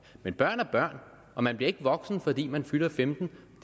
men børn er børn og man bliver ikke voksen fordi man fylder femten